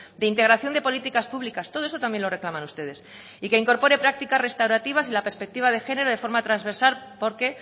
de integración de políticas públicas todo eso también lo reclaman ustedes y que incorpore prácticas restaurativas y la perspectiva de género de forma transversal porque